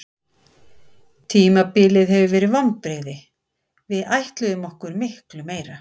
Tímabilið hefur verið vonbrigði, við ætluðum okkur miklu meira.